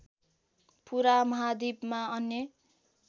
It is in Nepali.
पूरा महाद्वीपमा अन्य